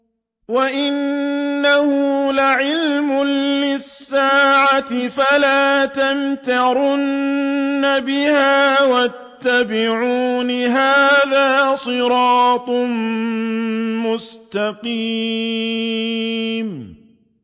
وَإِنَّهُ لَعِلْمٌ لِّلسَّاعَةِ فَلَا تَمْتَرُنَّ بِهَا وَاتَّبِعُونِ ۚ هَٰذَا صِرَاطٌ مُّسْتَقِيمٌ